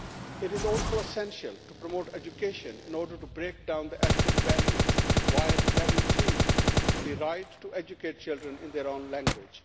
It is also essential to promote education in order to break down the ethnic barriers, while guaranteeing the right to educate children in their own language.